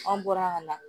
An bɔra ka na